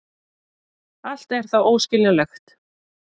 Allt er það óskiljanlegt.